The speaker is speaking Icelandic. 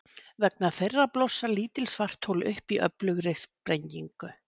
Vegna þeirra blossa lítil svarthol upp í öflugri sprengingu.